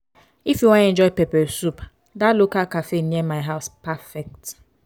if you wan enjoy pepper soup that local cafe near my house perfect.